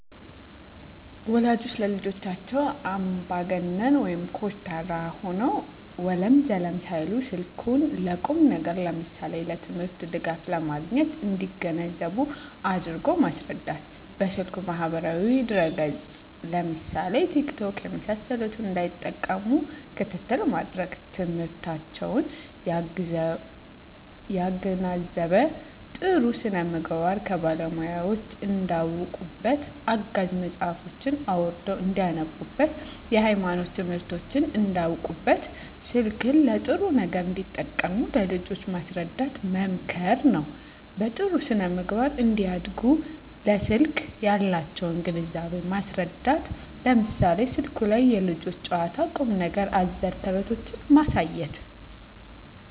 ወላጆች ለልጆቻቸው አምባገነን (ኮስታራ) ሆነው ወለም ዘለም ሳይሉ ስልኩን ለቁም ነገር ለምሳሌ ለትምህርት ድጋፍ ለማግኘት እንዲገነዘቡ አድርጎ ማስረዳት። በስልኩ ማህበራዊ ድረ ገፅ ለምሳሌ ቲክቶክ የመሳሰሉትን እንዳይጠቀሙ ክትትል ማድረግ። ትምህርታቸውን ያገናዘበ , ጥሩ ስነምግባር ከባለሙያወች እንዳውቁበት , አጋዥ መፅሀፎችን አውርደው እንዳነቡብት, የሀይማኖት ትምህርቶችን እንዳውቁበት , ስልክን ለጥሩ ነገር እንዲጠቀሙ ለልጆች ማስረዳት መምከር ነው። በጥሩ ስነ-ምግባር እንዲያድጉ ለስልክ ያላቸውን ግንዛቤ ማስረዳት ለምሳሌ ስልኩ ላይ የልጆች ጨዋታ ቁም ነገር አዘል ተረቶችን ማሳየት